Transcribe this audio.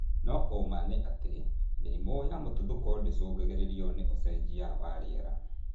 No ũũma nĩ atĩ mĩrimũ ya mũtuthũko ndĩcũngagĩrĩrio nĩ ũcenjia wa rĩera